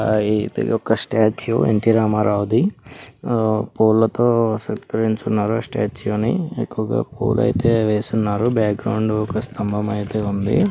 ఇది ఒక statue N T రామరావుది. ఆ పూలతో సత్కరించి ఉన్నారు. ఆ స్టాట్యు ని. ఎక్కువగా పూలైతే వేసి ఉన్నారు. బాక్గ్రోండ్ ఒక స్తంభమైతే ఉంది.